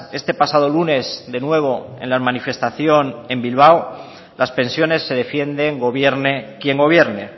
este pasado lunes de nuevo en la manifestación en bilbao las pensiones se defienden gobierne quien gobierne